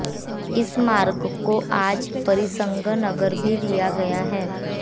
इस मार्ग को आज परिसंघ नगर भी दिया गया है